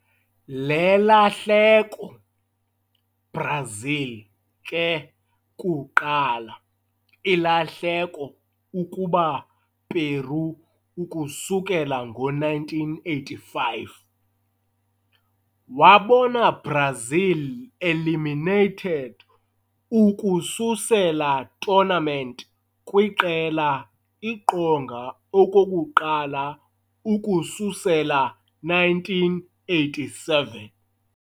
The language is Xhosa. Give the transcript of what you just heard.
Le lahleko, Brazil ke kuqala ilahleko ukuba Peru ukusukela ngo-1985, wabona Brazil eliminated ukususela tournament kwiqela iqonga okokuqala ukususela 1987.